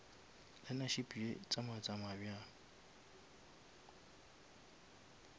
learnership ye tsamaya tsamaya bjang